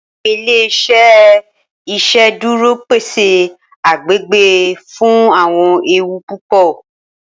Awọn ile-iṣẹ iṣeduro pese agbegbe fun awọn ewu pupọ.